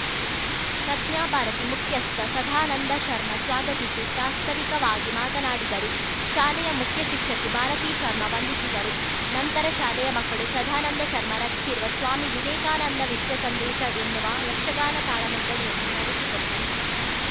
ಪ್ರಜ್ಞಾಭಾರತಿ ಮುಖ್ಯಸ್ಥ ಸದಾನಂದ ಶರ್ಮ ಸ್ವಾಗತಿಸಿ ಪ್ರಾಸ್ತಾವಿಕವಾಗಿ ಮಾತನಾಡಿದರು ಶಾಲೆಯ ಮುಖ್ಯ ಶಿಕ್ಷಕಿ ಭಾರತಿ ಶರ್ಮಾ ವಂದಿಸಿದರು ನಂತರ ಶಾಲೆಯ ಮಕ್ಕಳು ಸದಾನಂದ ಶರ್ಮಾ ರಚಿಸಿರುವ ಸ್ವಾಮಿ ವಿವೇಕಾನಂದ ವಿಶ್ವ ಸಂದೇಶ ಎನ್ನುವ ಯಕ್ಷಗಾನ ತಾಳಮದ್ದಲೆಯನ್ನು ನಡೆಸಿಕೊಟ್ಟರು